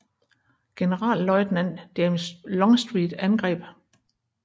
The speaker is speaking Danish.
Generalløjtnant James Longstreet angreb med sit 1